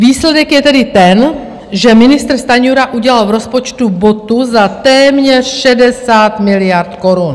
Výsledek je tedy ten, že ministr Stanjura udělal v rozpočtu botu za téměř 60 miliard korun.